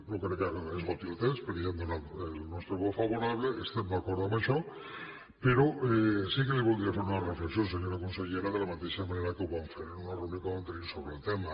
no crec que esgoti el temps perquè ja hem donat el nostre vot favorable estem d’acord amb això però sí que li voldria fer una reflexió senyora consellera de la mateixa manera que ho vam fer en una reunió que vam tenir sobre el tema